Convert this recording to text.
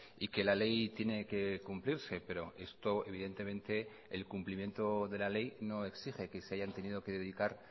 y que la ley tiene que cumplirse pero esto evidentemente el cumplimiento de la ley no exige que se hayan tenido que dedicar